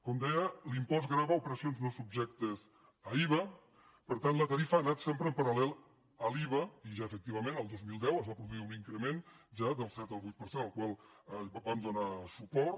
com deia l’impost grava operacions no subjectes a iva per tant la tarifa ha anat sempre en paral·lel a l’iva i ja efectivament el dos mil deu es va produir un increment ja del set al vuit per cent al qual vam donar suport